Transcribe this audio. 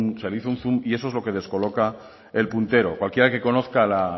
un zoom y eso es lo que descoloca el puntero cualquiera que conozca la